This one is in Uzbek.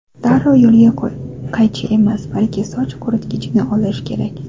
Darrov qo‘lga qaychi emas, balki soch quritgichni olish kerak.